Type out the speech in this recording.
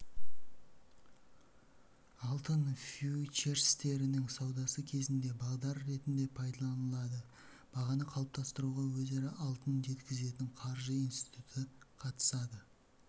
алтын фьючерстерінің саудасы кезінде бағдар ретінде пайдаланылады бағаны қалыптастыруға өзара алтын жеткізетін қаржы институты қатысады